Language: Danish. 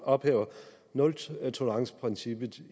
ophæver nultoleranceprincippet